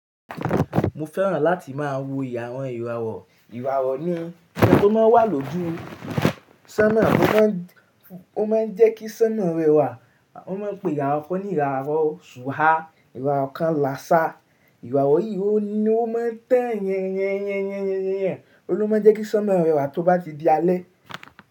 Mo fẹ́ràn láti máa awo ìràwọ̀ ìràwọ̀. Ìràwọ̀ ni ohun tó máa ń wà lójú sánmọ̀, ó má ń jẹ́ kí sánmọ̀ rẹwà. Wọ́n má ń pe ìhàrọ̀ kan ní ìhàrọ̀ sùha, ìhàrọ̀ kan làsá. Ìràwọ̀ yìí ni ó máa ń tẹ́ẹ̀yẹn, ẹ́yẹn, ẹ́yẹn, ẹ́yẹn, ẹ́yẹn ni ó máa ń jẹ́ kí sánmọ̀ rẹwà tó bá ti di alẹ́.